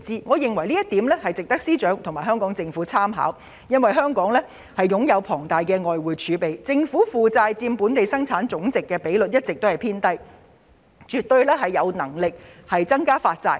我認為這項措施值得司長和香港政府參考，因為香港擁有龐大的外匯儲備，政府負債佔本地生產總值的比率一直偏低，政府絕對有能力增加發債。